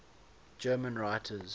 german writers